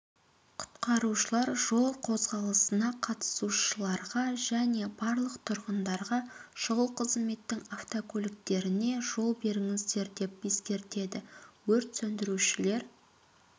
құтқарушылар жол қозғалысына қатысушыларға және барлық тұрғындарға шұғыл қызметтің автокөліктеріне жол беріңіздер деп ескертеді өрт сөндірушілер